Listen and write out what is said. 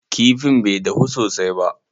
Kifin bai dahu sosai ba.